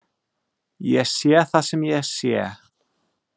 Ég sé það sem ég sé.